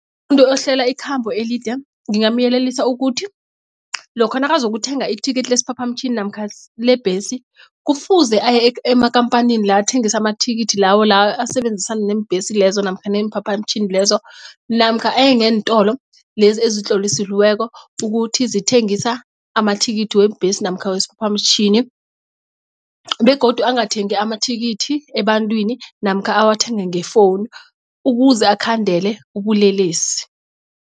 Umuntu ohlela ikhambo elide ngingamyelelisa ukuthi lokha nakazokuthenga ithikithi lesiphaphamtjhini namkha lebhesi kufuze aye ekhamphanini la athengisa amathikithi lawo la asebenzisana neembhesi lezo namkha neemphaphamtjhini lezo namkha aye ngeentolo lezi ezitlolisiweko ukuthi zithengisa amathikithi weembesi namkha wesiphaphamtjhini begodu angathengi amathikithi ebantwini namkha awathenge ngefowunu ukuze akhandele ubulelesi.